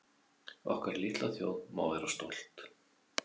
Okkar litla þjóð má vera stolt